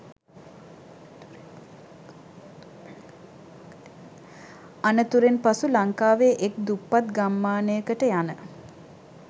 අනතුරෙන් පසු ලංකාවේ එක් දුප්පත් ගම්මානයකට යන